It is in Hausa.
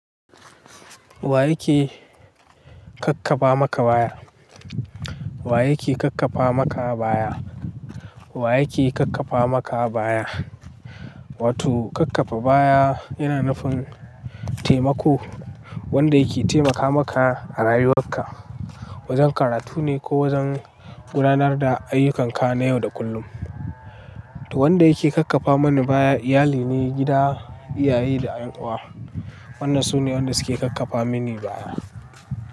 Wa yake kakkafa maka baya? Wa yake kakkafa maka baya? Wa yake kakkafa maka baya? Wato kakkafa baya yana nufin taimako wanda yake taimaka maka a rayuwarka, wajen karatu ne ko wajen gudanar da ayyukanka na yau da kullum. To wanda yake kakkafa mani baya iyali ne, gida, iyaye da ƴan uwa. Wanda su ne wanda suke kakkafa mini baya.